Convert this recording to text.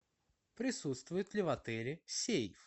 присутствует ли в отеле сейф